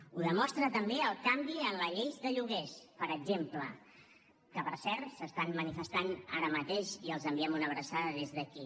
ho demostra també el canvi en la llei de lloguers per exemple que per cert s’estan manifestant ara mateix i els enviem una abraçada des d’aquí